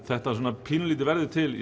þetta pínulítið verður til